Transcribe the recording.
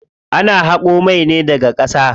Ana haƙo mai ne daga ƙasa.